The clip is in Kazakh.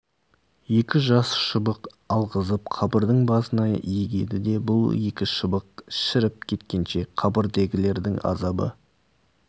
екі жас шыбық алғызып қабірдің басына егеді де бұл екі шыбық шіріп кеткенше қабірдегілердің азабы